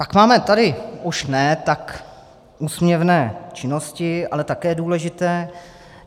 Pak máme tady už ne tak úsměvné činnosti, ale také důležité.